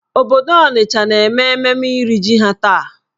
Obodo Onitcha na-eme mmemme iri jì ha taa.